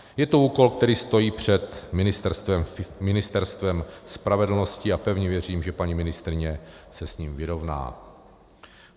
Je to úkol, který stojí před Ministerstvem spravedlnosti, a pevně věřím, že paní ministryně se s ním vyrovná.